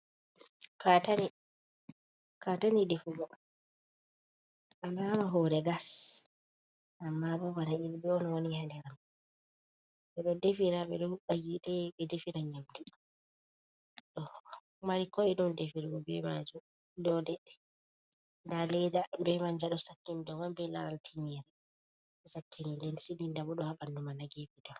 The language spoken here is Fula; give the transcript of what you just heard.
Katane. Katane defugo. Alama hure gas amma bo bana yulbe on wani ha der mai. Be ɗo defira be ɗo hubba hite be defira yamɗu. Ɗo mari ko’eɗum defirgo be manjum dow leɗɗe. Ɗa leɗa be manja ɗo sakkini ɗow mI be laral tigere sakkini ɗen silinɗa bo ɗo ha banɗumai ha gefe guɗa.